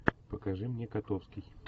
покажи мне котовский